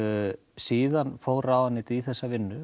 síðan fór ráðuneytið í þessa vinnu